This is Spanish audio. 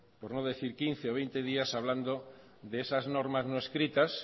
por no decir quince o veinte días hablando de esas normas no escritas